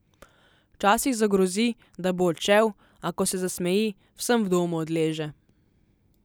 Včasih zagrozi, da bo odšel, a ko se zasmeji, vsem v domu odleže.